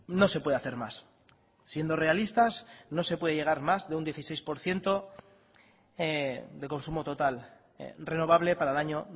no se puede hacer más siendo realistas no se puede llegar más de un dieciséis por ciento de consumo total renovable para el año